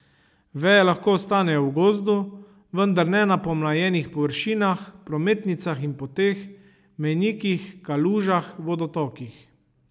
Veje lahko ostanejo v gozdu, vendar ne na pomlajenih površinah, prometnicah in poteh, mejnikih, kalužah, vodotokih.